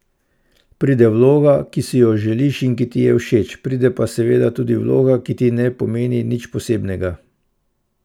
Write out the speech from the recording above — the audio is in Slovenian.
Pride vloga, ki si jo želiš in ki ti je všeč, pride pa seveda tudi vloga, ki ti ne pomeni nič posebnega.